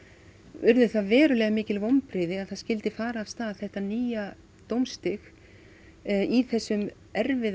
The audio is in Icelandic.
urðu það verulega mikil vonbrigði að það skyldi fara af stað þetta nýja dómstig í þessum erfiðu